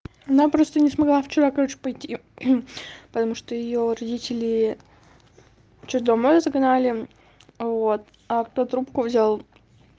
она просто не смогла вчера короче пойти потому что её родители что домой загнали вот а кто трубку взял